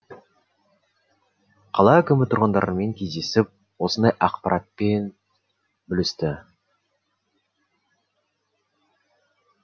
қала әкімі тұрғындармен кездесіп осындай ақпаратпен бөлісті